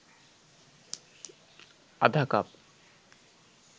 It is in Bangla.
আধা কাপ